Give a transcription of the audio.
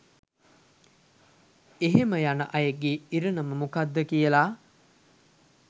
එහෙම යන අයගේ ඉරණම මොකද්ද කියලා